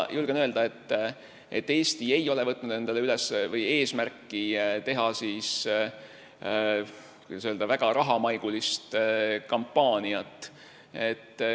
Julgen öelda, et Eesti ei ole võtnud endale eesmärki teha väga rahamaigulist kampaaniat.